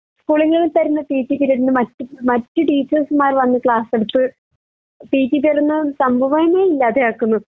സ്കൂളുങ്ങളിൽ തര്ന്ന P T period ന് മറ്റ് മറ്റ് ടീച്ചേർസ്‌മാര് വന്ന് ക്ലാസ് എടുത്ത് പി ട്ടി പീരീഡ് എന്ന സംഭവന്നെ ഇല്ലാതെ ആക്കുന്നു